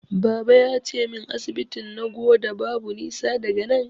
Baba yace min asibitin Nagoda babu nisa daga nan.